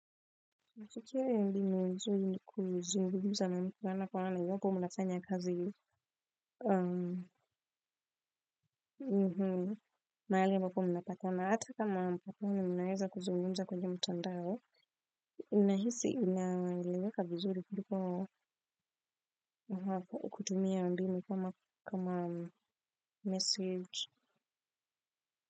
Asukiri ya mbini vizuri ni kuzungumza na mkugana kwa wana na ywako mnafanya kazi yu mahali ambapo mnapatana hata kama mnazungumza kwenye mtandao kutumia mbinu kama kama message.